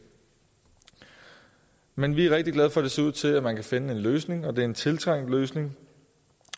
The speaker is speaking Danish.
men vi er rigtig glade for at det ser ud til at man kan finde en løsning det er en tiltrængt løsning